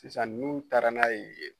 Sisan n'u taara n'a ye yen